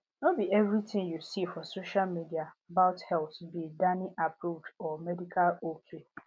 no be everything you see for social media about health be dannyapproved or medical ok